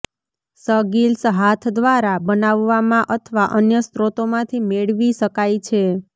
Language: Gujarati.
સગિલ્સ હાથ દ્વારા બનાવવામાં અથવા અન્ય સ્રોતોમાંથી મેળવી શકાય છે